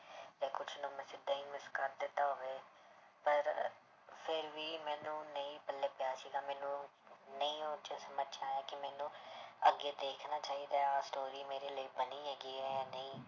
ਤੇ ਕੁਛ ਨੂੰ ਮੈਂ ਸਿੱਧਾ ਹੀ miss ਕਰ ਦਿੱਤਾ ਹੋਵੇ, ਪਰ ਫਿਰ ਵੀ ਮੈਨੂੰ ਨਹੀਂ ਪੱਲੇ ਪਿਆ ਸੀਗਾ ਮੈਨੂੰ ਨਹੀਂ ਉਹ ਕਿ ਮੈਨੂੰ ਅੱਗੇ ਦੇਖਣਾ ਚਾਹੀਦਾ ਹੈ story ਮੇਰੇ ਲਈ ਬਣੀ ਹੈਗੀ ਹੈ ਜਾਂ ਨਹੀਂ।